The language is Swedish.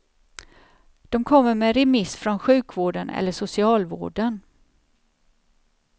De kommer med remiss från sjukvården eller socialvården.